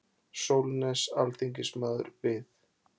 Sólnes alþingismaður við.